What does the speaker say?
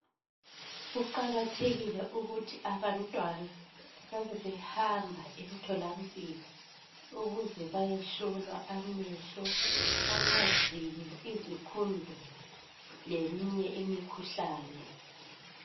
Kuqakathekile ukuthi abantwana babe behamba emtholampilo ukuze bayehlolwa amehlo ,amazinyo , izikhundula leminye imikhuhlane